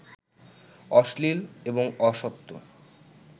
অশ্লীল এবং অসত্য